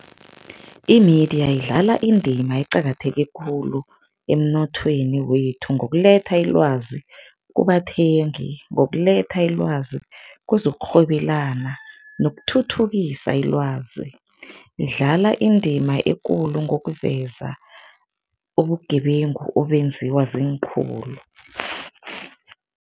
I-media idlala indima eqakatheke khulu emnothweni wethu ngokuletha ilwazi kubathengi, ngokuletha ilwazi kwezokurhwebelana nokuthuthukisa ilwazi. Idlala indima ekulu ngokuveza ubugebengu obenziwa ziinkhulu.